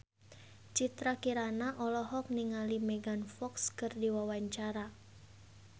Citra Kirana olohok ningali Megan Fox keur diwawancara